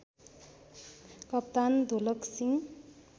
कप्तान धोलक सिं